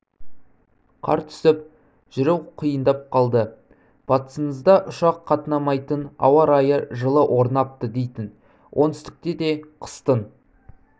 қар түсіп жүру қиындап қалды батысыңызда ұшақ қатынамайтын ара-райы орнапты жылы дейтін оңтүстікте де қыстың